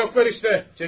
Evdə yoxdular işte.